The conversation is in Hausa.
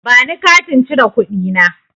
Bani Katin cire kuɗi na.